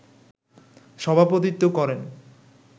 সভাপতিত্ত্ব করেন